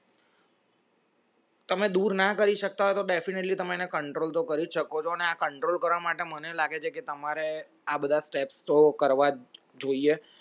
તમે દૂર ના કરી શકતા હોય તો definitely તમને control તો કરી શકો છો અને આ control કરવા માટે મને લાગે છે કે તમારે આ બધા step તો કરવા જોઈએ